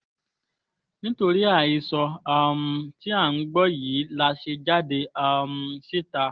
nítorí àhesọ um tí à ń gbọ́ yìí la ṣe jáde um síta